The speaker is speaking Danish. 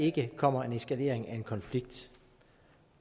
ikke kommer en eskalering af en konflikt